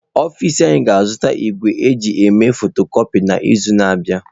Ọfịs anyị ga-azụta igwe eji eme fotokọpi n'izu na-abịa.